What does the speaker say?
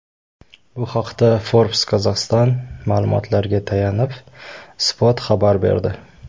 Bu haqda Forbes Kazakhstan ma’lumotlariga tayanib, Spot xabar berdi .